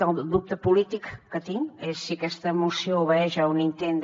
el dubte polític que tinc és si aquesta moció obeeix a un intent de